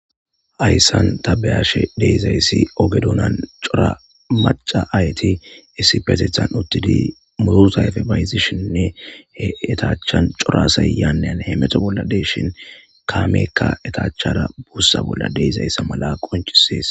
Ayssan tabeyashe deizayssi oge duunan cora maca ayti issi petethan uttidi murutayfe bayzishinne he etaachchan corasayyannen he meto bolla deshin kaameekka etaachchara buussa bolla deizayssa mala qonchisees.